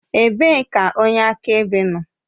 Ebee ka onye akaebe nọ?